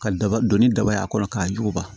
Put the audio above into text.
Ka daba donni daba ye a kɔnɔ k'a juba